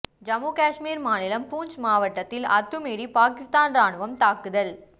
ஜம்மு காஷ்மீர் மாநிலம் பூஞ்ச் மாவட்டத்தில் அத்துமீறி பாகிஸ்தான் ராணுவம் தாக்குதல்